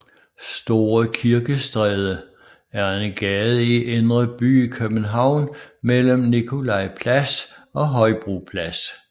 Store Kirkestræde er en gade i Indre By i København mellem Nikolaj Plads og Højbro Plads